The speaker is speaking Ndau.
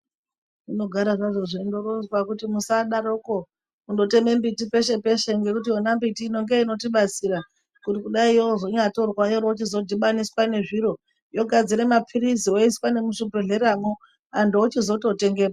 Zvinogara zvazvo zveindoronzwa kuti musadaroko kundoteme mbiti peshe peshe ngekuti yona mbiti inonge inotibatsira kuri kudai yozonyatorwa yorochizodhibaniswa nezviro yogadzire maphirizi woiswa muzvibhehleramwo antu ochizototengemwo.